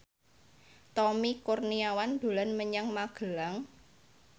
Tommy Kurniawan dolan menyang Magelang